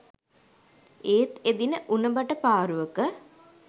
ඒත් එදින උණ බට පාරුවක